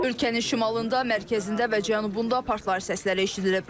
Ölkənin şimalında, mərkəzində və cənubunda partlayış səsləri eşidilib.